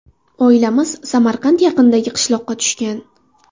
Oilamiz Samarqand yaqinidagi qishloqqa tushgan.